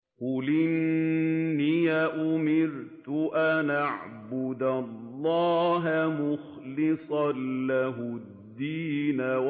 قُلْ إِنِّي أُمِرْتُ أَنْ أَعْبُدَ اللَّهَ مُخْلِصًا لَّهُ الدِّينَ